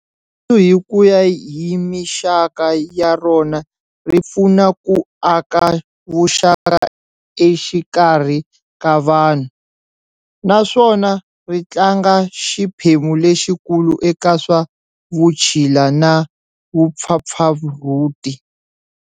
Rirhandzu hikuya hi mixaka ya rona ri pfuna ku aka vuxaka exikarhi ka vanhu, naswona ritlanga xiphemu lexi kulu eka swa vutshila na vupfapfarhuti.